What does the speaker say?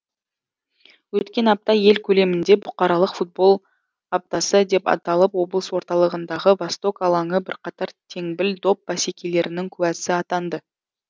өткен апта ел көлемінде бұқаралық футбол аптасы деп аталып облыс орталығындағы восток алаңы бірқатар теңбіл доп бәсекелерінің куәсі атанды